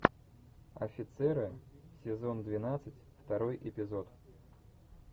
офицеры сезон двенадцать второй эпизод